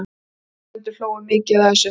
Áheyrendur hlógu mikið að þessu.